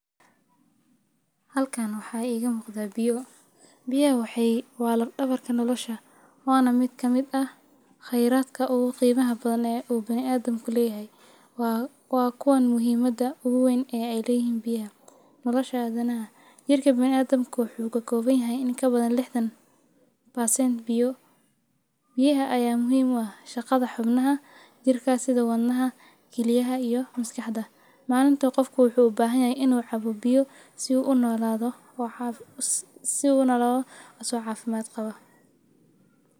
Halkan waxaa iga muqda biyo. Biyaha waa lafdhabarka nolasha waana mid kamid ah qeyradka ogu qiimaha badan ee u biniadamka leeyahy waa kuwan muhiimada ogu wayn ay leyihiin biyaha nolashadana jirka biniadamka waxuu kakobanyahy in ka badan lixdan percent biyo biyaha aya muhiim u ah shaqada xubnaha jirka sida wadnaha kiliyaha iyo maskaxda. Malinta qofka waxuu u bahanyahy inu cabo biyo si u unolaado asago cafimaad qabo.